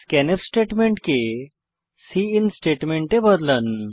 scanf statement কে cin statement এ বদলান